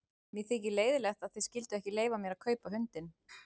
Mér þykir leiðinlegt að þið skylduð ekki leyfa mér að kaupa hundinn.